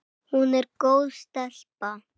Hún er góð stelpa.